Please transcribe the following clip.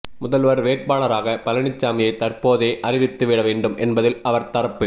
முதல்வர் வேட்பாளராக பழனிசாமியை தற்போதே அறிவித்து விட வேண்டும் என்பதில் அவர் தரப்பு